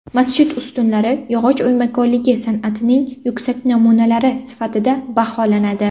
Masjid ustunlari yog‘och o‘ymakorligi san’atining yuksak namunalari sifatida baholanadi.